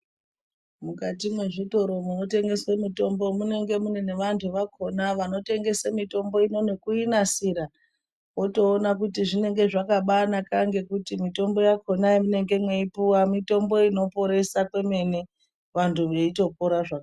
Mukati mwezvitoro munotengese mitombo munonge mune nevantu vakona vanotengese mitombo ino nekuinasira, otoona kuti zvinenge zvakabanaka. Ngekuti mitombo yakona yamunenge mweipuva mitombo inoporesa kwemene vantu veitopora zvakanaka.